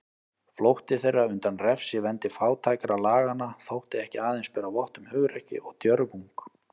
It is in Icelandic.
Flótti þeirra undan refsivendi fátækralaganna þótti ekki aðeins bera vott um hugrekki og djörfung.